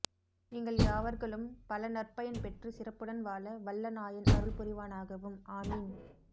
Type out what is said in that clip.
நீங்கள் யாவர்களும் பல நற் பயன் பெற்று சிறப்புடன் வாழ வல்ல நாயன் அருள் புரிவானாகவும் ஆமீன்